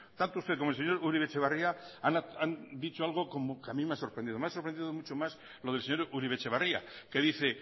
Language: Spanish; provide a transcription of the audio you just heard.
tanto usted como el señor uribe etxebarria han dicho algo que a mí me ha sorprendido me ha sorprendido más lo del señor uribe etxebarria que dice